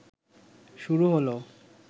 শুরু হল